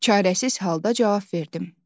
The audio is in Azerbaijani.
Çarəsiz halda cavab verdim.